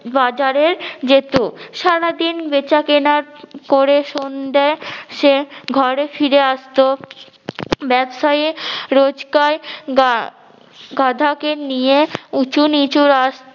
বাজারে যেত সারাদিন বেচা কেনা করে সন্ধ্যায় সে ঘরে ফিরে আসতো। ব্যবসায়ী রোজকায় গা~ গাধাকে নিয়ে উঁচুনিচু রাস্~